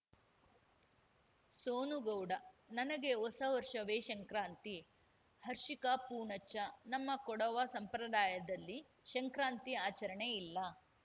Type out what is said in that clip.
ಸೋನು ಗೌಡ ನನಗೆ ಹೊಸ ವರ್ಷವೇ ಶಂಕ್ರಾಂತಿ ಹರ್ಷಿಕಾ ಪೂಣಚ್ಚ ನಮ್ಮ ಕೊಡವ ಸಂಪ್ರದಾಯದಲ್ಲಿ ಶಂಕ್ರಾಂತಿ ಆಚರಣೆ ಇಲ್ಲ